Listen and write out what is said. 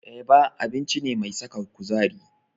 Eba abinci ce mai saka kuzari.